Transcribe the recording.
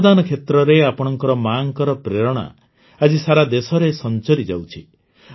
ଅଙ୍ଗଦାନ କ୍ଷେତ୍ରରେ ଆପଣଙ୍କ ମାଙ୍କର ପ୍ରେରଣା ଆଜି ସାରା ଦେଶରେ ସଂଚରିଯାଉଛି